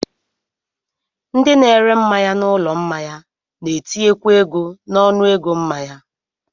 Ndị na-ere mmanya n'ụlọ mmanya na-etinyekwa ego n'ọnụego mmanya